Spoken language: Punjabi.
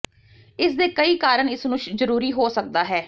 ਇਸ ਦੇ ਕਈ ਕਾਰਨ ਇਸ ਨੂੰ ਜ਼ਰੂਰੀ ਹੋ ਸਕਦਾ ਹੈ